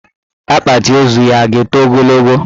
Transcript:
Akpati ozu ya a ga-eto ogologo?